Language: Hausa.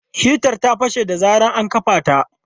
Hitan ta fashe da zarar ana kafa ta.